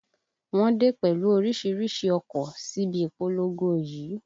Wọ́n dé pẹ̀lú orísìírísìí ọkọ̀ síbi ìpolongo yìí